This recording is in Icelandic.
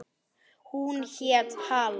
Hún hét Halla.